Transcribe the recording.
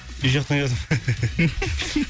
үй жақтан келе жатырмын